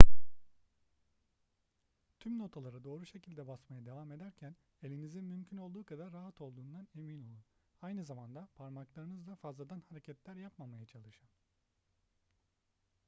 tüm notalara doğru şekilde basmaya devam ederken elinizin mümkün olduğu kadar rahat olduğundan emin olun aynı zamanda parmaklarınızla fazladan hareketler yapmamaya çalışın